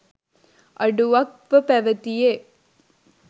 අඩුවක්ව පැවැතියේ